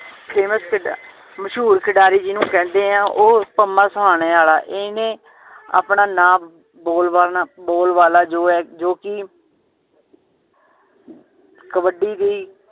famous ਖਿਡਾ~ ਮਸ਼ਹੂਰ ਖਿਡਾਰੀ ਜਿੰਨੂ ਕਹਿੰਦੇ ਆ ਉਹ ਪੰਮਾ ਸੋਹਣੇ ਆਲਾ ਇਹਨੇ ਆਪਣਾ ਨਾਮ ਬੋਲ ਬਾਲਨਾ~ ਬੋਲ ਬਾਲਾ ਜੋ ਹੈ ਜੋ ਕਿ ਕਬੱਡੀ ਦੀ